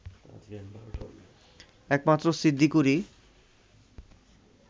একমাত্র সিদ্দিকুরই